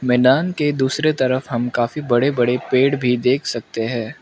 मैदान के दूसरे तरफ हम काफी बड़े बड़े पेड़ भी देख सकते हैं।